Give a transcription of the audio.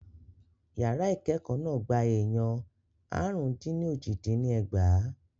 Yàrá ìkẹ́ẹ̀kọ́ náà gba èèyàn àrùn-dín-ní-ójì dín ní ẹgbàá.